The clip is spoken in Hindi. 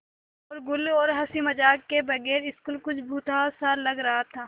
शोरोगुल और हँसी मज़ाक के बगैर स्कूल कुछ भुतहा सा लग रहा था